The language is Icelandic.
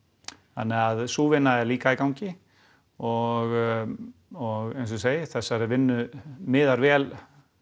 þannig að sú vinna er líka í gangi og og eins og ég segi þessari vinnu miðar vel